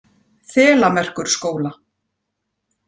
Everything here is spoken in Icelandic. Þelamerkurskóla